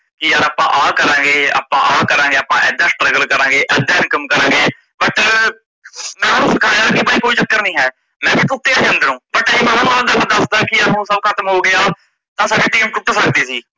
ਕੀ ਯਾਰ ਆਪਾਂ ਆ ਕਰਾਂਗੇ ਆਪਾਂ ਆ ਕਰਾਂਗੇ ਆਪਾਂ ਏਦਾ struggle ਕਰਾਂਗੇ ਏਦਾ income ਕਰਾਂਗੇ but ਮੈ ਓਨੁ ਬਿਠਾਇਆ ਕੀ ਬਾਈ ਕੋਈ ਚੱਕਰ ਨਹੀਂ ਹੈ ਮੈ ਵੀ ਟੁੱਟਿਆ ਸੀ ਅੰਦਰੋ but ਆ ਜੇ ਮੈ ਦੱਸਦਾ ਕੀ ਹੁਣ ਯਾਰ ਸੱਭ ਖਤਮ ਹੋ ਗਿਆ ਤਾਂ ਸਾਡੀ team ਟੁੱਟ ਸਕਦੀ ਸੀ।